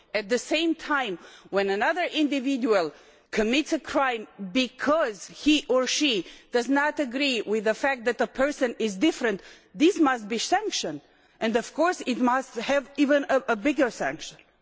At the same time, when another individual commits a crime because he or she does not agree with the fact that a person is different, this must be penalised and of course it must have an even bigger penalty.